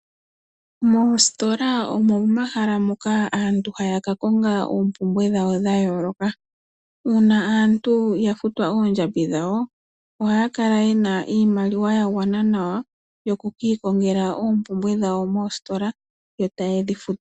Moositola omo momahala moka aantu haya ka konga oompumbwe dhawo dhayooloka. Uuna aantu ya futwa oondjambi dhawo, ohaya kala ye na iimaliwa ya gwana nawa, yokukiikongela oompumbwe dhawo moositola, yo taye dhi futu.